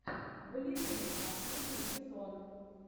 балерины последний сезон